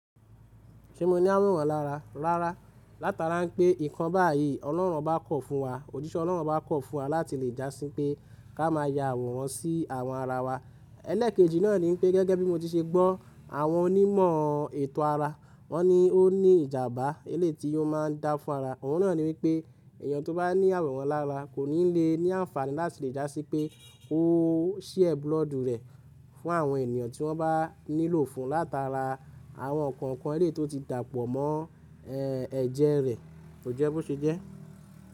Ṣé mo ní àrùn wọn lára? Rárá. Látara pé nǹkan báyìí Ọlọ́run bá kọ̀ fún wa, òjíṣẹ́ Ọlọ́run bá kọ̀ fún wa láti lè dá sí pé ká má ya àwòrán sí àwọn ara wa. Ẹlẹ́ẹ̀kejì náà ní wípé gẹ́gẹ́ bí mo ti ṣe gbọ́ àwọn onímọ̀ ètò ara wọ́n ní o ní ìjàmbá eléyìí ti ò má a ń dá fún ara. Òun náà ní wípé èèyàn tó bá ní àwòrán lára kò ní lè ní àǹfààní láti lè dá sí pé ó ṣía búlọ́ọ̀dù rẹ̀ fún àwọn ènìyàn tí wọ́n bá nílò fún látara àwọn nǹkan elé tó ti dàpọ̀ mọ́ ẹ̀jẹ̀ rẹ̀. Kò jẹ́ bó ṣe jẹ́.